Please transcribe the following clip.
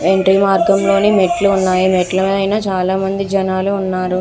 Entry మార్గంలోనే మెట్లు ఉన్నాయి మెట్ల పైన చాలామంది జనాలు ఉన్నారు.